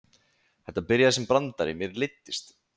Þetta byrjaði sem brandari, mér leiddist.